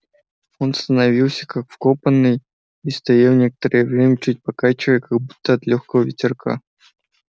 он остановился как вкопанный и стоял некоторое время чуть покачиваясь как будто от лёгкого ветерка